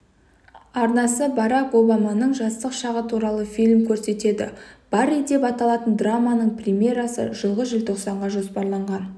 арнасы барак обаманың жастық шағы туралы фильм көрсетеді барри деп аталатын драманың премьерасы жылғы желтоқсанға жоспарланған